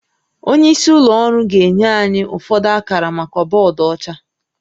Onye isi ụlọ ọrụ ga-enye anyị ụfọdụ akara maka bọọdụ ọcha